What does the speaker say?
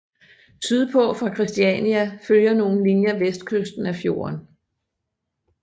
Syd på fra Kristania følger nogle linjer vestkysten af fjorden